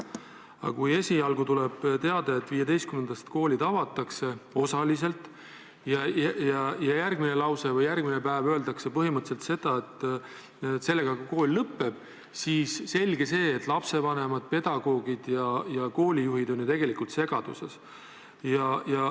Aga kui esialgu tuleb teade, et 15-ndast koolid avatakse osaliselt, aga järgmises lauses või järgmisel päeval öeldakse põhimõtteliselt seda, et sellega ka kool lõpeb, siis selge see, et lapsevanemad, pedagoogid ja koolijuhid on segaduses.